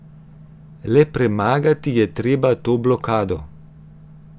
Le premagati je treba to blokado.